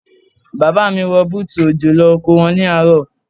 Bàbá mi wọ bútù òjò lọ oko wọn ní àárọ̀.